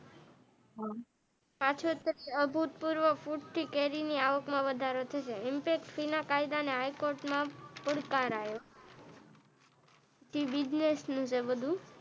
હા પાછળ થી ભૂતપૂર્વપુરતી કેરીની આવકમાં વધારો થશે અને ઇમ્પેકટ ફી કાયદા ને હાઈકોર્ટમાં પોકાર આયો તે બિઝનેસ છે બધું.